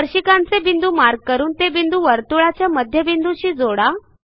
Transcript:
स्पर्शिकांचे बिंदू मार्क करून ते बिंदू वर्तुळाच्या मध्यबिंदूशी जोडा